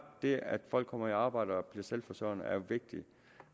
det at folk kommer i arbejde og bliver selvforsørgende er vigtigt